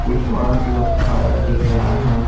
कुछ औरत लोग खारा दिख रहा है।